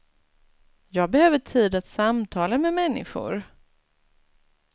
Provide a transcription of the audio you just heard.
Jag behöver tid att samtala med människor.